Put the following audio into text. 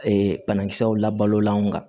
Ee banakisɛw la balola an kan